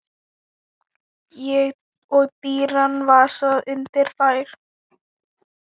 Og dýran vasa undir þær.